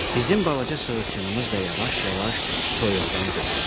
Bizim balaca sığırçınımız da yavaş-yavaş soyuqdan donurdu.